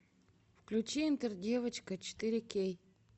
включи интер девочка четыре кей